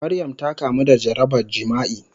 Maryam ta kamu da jarabar jima'i.